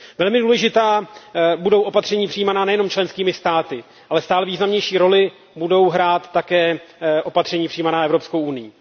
Velmi důležitá budou opatření přijímána nejen členskými státy, ale stále významnější roli budou hrát také opatření přijímána Evropskou unií.